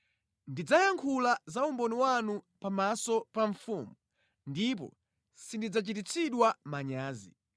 Ndidzayankhula za umboni wanu pamaso pa mfumu ndipo sindidzachititsidwa manyazi,